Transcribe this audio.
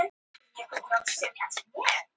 Barn lést í kjölfar eineltis